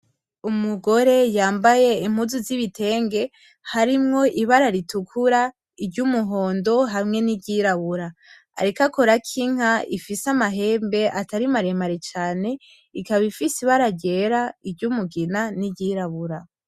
Umugore yambaye impuzu z'ibitenge harimwo ibara ritukura, iryumuhondo hamwe n'iryirabura, ariko akorako inka ifise amahembe atari maremare cane ikaba ifise ibara ryera, iryumugina n'iryirabura.